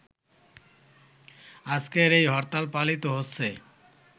আজকের এই হরতাল পালিত হচ্ছে